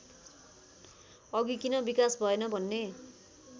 अघि किन विकास भएन भन्ने